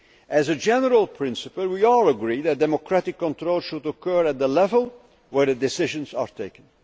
As a general principle, we all agree that democratic control should occur at the level where decisions are taken.